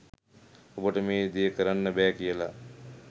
ඔබට මේ ‍දේ කරන්න බෑ කියලා